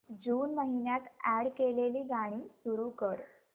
जून महिन्यात अॅड केलेली गाणी सुरू कर